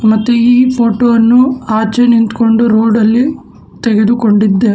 ಮತ್ತು ಈ ಫೋಟೋ ವನ್ನು ಆಚೆ ನಿಂತ್ಕೊಂಡು ರೋಡಲ್ಲಿ ತೆಗೆದುಕೊಂಡಿದ್ದಾ--